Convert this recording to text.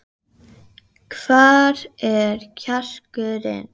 Hvar er kjarkurinn?